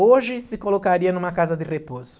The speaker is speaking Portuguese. Hoje se colocaria numa casa de repouso.